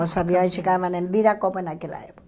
Os aviões chegavam em Viracopos naquela época.